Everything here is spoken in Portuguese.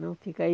Não fica. Aí